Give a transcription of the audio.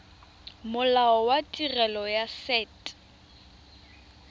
molao wa tirelo ya set